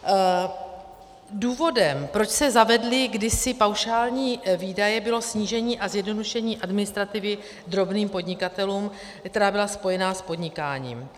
Důvodem, proč se zavedly kdysi paušální výdaje, bylo snížení a zjednodušení administrativy drobným podnikatelům, která byla spojena s podnikáním.